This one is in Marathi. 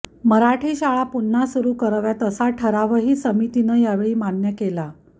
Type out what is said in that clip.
मराठी शाळा पुन्हा सुरू कराव्यात असा ठरावही समितीनं या वेळी मान्य केला